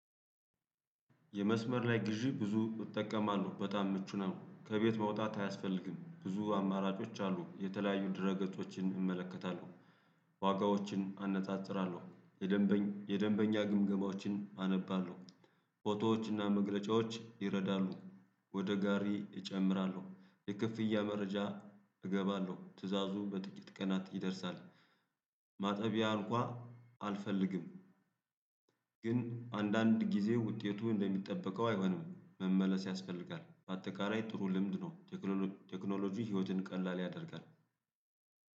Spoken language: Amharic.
የመስመር ላይ ግዢ ብዙ እጠቀማለሁ በጣም ምቹ ነው ከቤት መውጣት አያስፈልግም ብዙ አማራጮች አሉ የተለያዩ ድህረገጾችን እመለከታለሁ ዋጋዎችን አነጻጽራለሁ። የደንበኛ ግምገማዎችን አነባለሁ ፎቶዎችና መግለጫዎች ይረዳሉ። ወደ ጋሪ እጨምራለሁ የክፍያ መረጃ እገባለሁ ትእዛዙ በጥቂት ቀናት ይደርሳል። ማጠቢያ አንኳ አልፈልግም። ግን አንዳንድ ጊዜ ውጤቱ እንደሚጠበቀው አይሆንም መመለስ ያስፈልጋል። በአጠቃላይ ጥሩ ልምድ ነው። ቴክኖሎጂ ህይወትን ቀላል ያደርጋል።